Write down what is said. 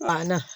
A na